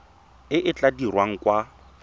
e e tla dirwang kwa